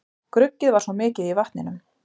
Gruggið var svo mikið í vatninu